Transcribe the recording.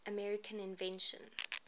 american inventions